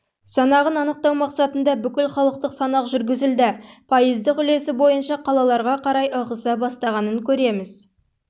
санағын анықтау мақсатында бүкілхалықтық санақ жүргізілді пайыздық үлесі бойынша қалаларға қарай ығыса бастағанын көреміз